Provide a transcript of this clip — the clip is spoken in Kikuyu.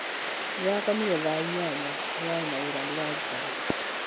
Ndĩrakomire thaa inyanya, ndĩrarĩ na wĩra ndĩraruta